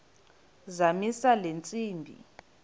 zamisa le ntsimbi